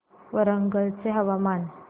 वरंगल चे हवामान